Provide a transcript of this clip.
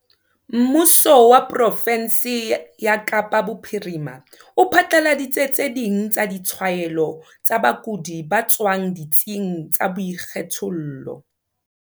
Mmuso wa profensi ya Kapa Bophirima o phatlaladitse tse ding tsa ditshwaelo tsa bakudi ba tswang ditsing tsa boikgethollo.